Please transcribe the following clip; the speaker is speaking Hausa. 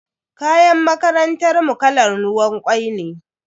Kayan makarantar mu kalan ruwan kwai ne.